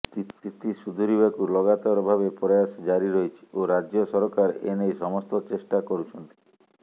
ସ୍ଥିତି ସୁଧାରିବାକୁ ଲଗାତାର ଭାବେ ପ୍ରୟାସ ଜାରି ରହିଛି ଓ ରାଜ୍ୟ ସରକାର ଏନେଇ ସମସ୍ତ ଚେଷ୍ଟା କରୁଛନ୍ତି